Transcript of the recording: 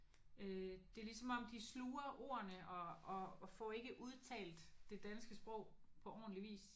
Øh det er ligesom om de sluger ordene og og får ikke udtalt det danske sprog på ordentlig vis